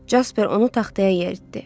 Casper onu taxtaya yeritdi.